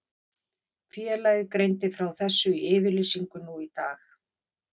Félagið greindi frá þessu í yfirlýsingu nú í dag.